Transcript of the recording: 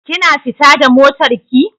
Kina fita da motar ki?